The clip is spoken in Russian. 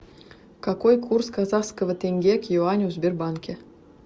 какой курс казахского тенге к юаню в сбербанке